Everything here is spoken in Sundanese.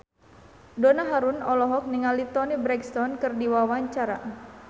Donna Harun olohok ningali Toni Brexton keur diwawancara